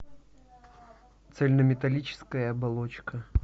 цельнометаллическая оболочка